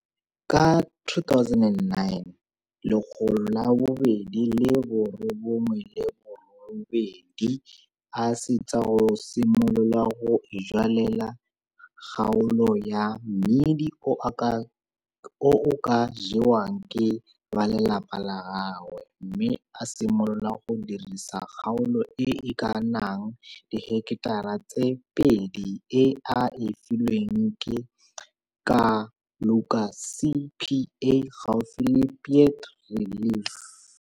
Ka 2009 a swetsa go simolola go ijwalela kgaolo ya mmidi o o ka jewang ke balelapa la gagwe mme a simolola go dirisa kgaolo e e ka nnang diheketara tse pedi e a e filweng ke Kaluka CPA gaufi le Piet Retief.